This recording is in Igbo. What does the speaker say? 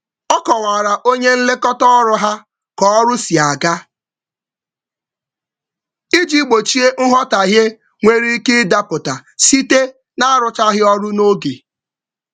Ọ kwalitere onye nlekọta ya banyere ọganihu iji zere nghọtahie banyere mmecha ọrụ.